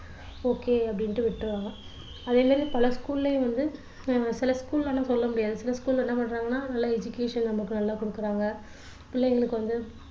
okay அப்படின்னு விட்ருவாங்க அதே மாதிரி பல school லயும் வந்து சில school லலாம் சொல்ல முடியாது சில school ல என்ன பண்றாங்கன்னா நல்ல education நமக்கு நல்லா கொடுக்குறாங்க பிள்ளைங்களுக்கு வந்து